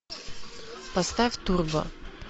поставь турбо